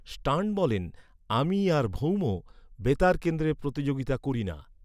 Stern বলেন, "আমি আর ভৌম বেতারকেন্দ্রে প্রতিযোগিতা করি না।"